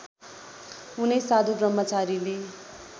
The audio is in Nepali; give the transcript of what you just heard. उनै साधु ब्रह्मचारीले